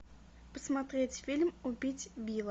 посмотреть фильм убить билла